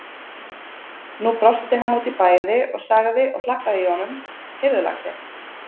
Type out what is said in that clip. Nú brosti hann út í bæði og sagði og hlakkaði í honum: Heyrðu lagsi!